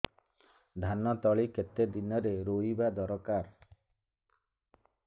ଧାନ ତଳି କେତେ ଦିନରେ ରୋଈବା ଦରକାର